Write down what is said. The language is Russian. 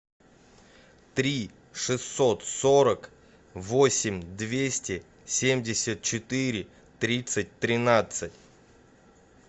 три шестьсот сорок восемь двести семьдесят четыре тридцать тринадцать